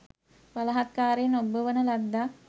බලහත්කාරයෙන් ඔබ්බවන ලද්දක්